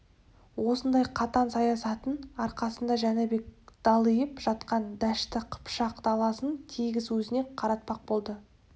осындай қатаң саясаттың арқасында жәнібек далиып жатқан дәшті қыпшақ даласын тегіс өзіне қаратпақ болды